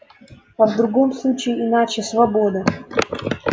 а в другом случае иначе свобода